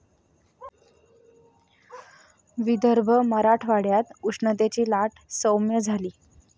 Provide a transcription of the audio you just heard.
विदर्भ, मराठवाड्यात उष्णतेची लाट साैम्य झाली.